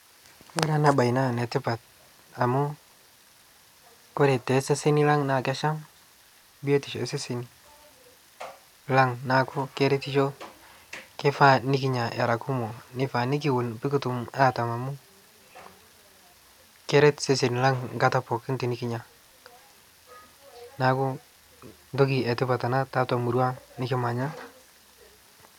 kore anaa bai naa netipat amu kore te seseni lang naa kesham biotisho ee seseni lang naaku keretisho neifaa nikinya era kumoo piikitum atam amu keret seseni lang nkata pooki tinikinya naaku ntoki ee tipat anaa taatua murua aang nikimanya